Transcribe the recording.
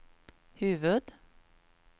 huvud-